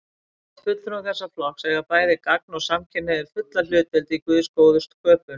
Samkvæmt fulltrúum þessa flokks eiga bæði gagn- og samkynhneigðir fulla hlutdeild í Guðs góðu sköpun.